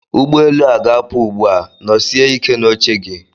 Ụgbọ elu a ga-apụ ugbu a, nọsie ike n'oche gị!